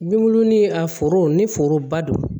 Binbulu ni a foro ni foroba don